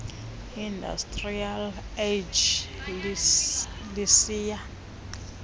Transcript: industrial age lisiya